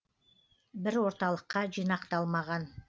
бір орталыққа жинақталмаған